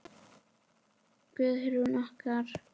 Guðrún okkar!